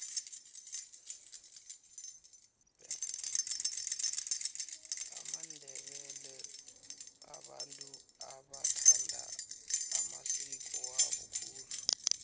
amandebele babantu abathanda amasiko wabo khulu